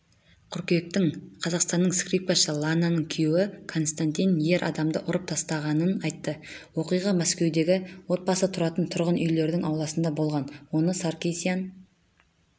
қыркүйектің қазақстандың скрипкашы лананың күйеуі константин ер адамды ұрып тастағанын айтты оқиға мәскеудегі отбасы тұратын тұрғын үйлерінің ауласында болған оны саркисян